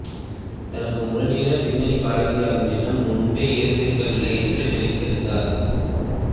தனக்கு முழு நேரப் பின்னணி பாடகியாகும் எண்ணம் முன்பே இருக்கவில்லை என்று நினைத்திருந்தார்